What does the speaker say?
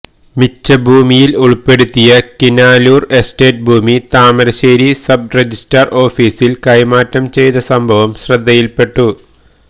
മിച്ചഭൂമിയിൽ ഉൾപ്പെടുത്തിയ കിനാലൂർ എസ്റ്റേറ്റ് ഭൂമി താമരശ്ശേരി സബ്രജിസ്ട്രാർ ഓഫീസിൽ കൈമാറ്റംചെയ്ത സംഭവം ശ്രദ്ധയിൽപ്പെട്ടു